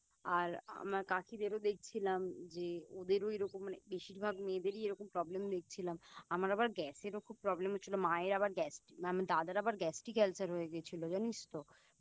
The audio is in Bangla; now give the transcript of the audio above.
আর আমার কাকিদের দেখছিলাম যে ওদেরও এইরকম মানে বেশিরভাগ মেয়েদেরই এইরকম Problem দেখছিলাম আমার আবার Gas এরও খুব Problem হচ্ছিলো মায়ের আবার Gastric আমার দাদার আবার Gastric ulcer ও হয়ে গেছিলো জানিস তো